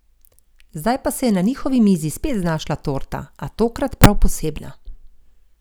Zdaj pa se je na njihovi mizi spet znašla torta, a tokrat prav posebna.